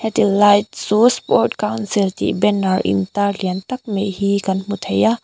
tilai chu sport council tih banner intar liantak mai hi kan hmuthei a.